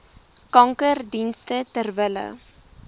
kankerdienste ter wille